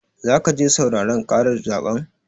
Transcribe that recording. Zaka je sauraren ƙarar zaɓen?